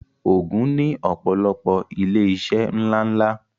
Ògùn ní ọ̀pọ̀lọpọ̀ ilé iṣẹ́ ńlá ńlá